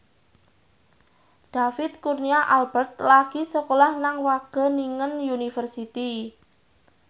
David Kurnia Albert lagi sekolah nang Wageningen University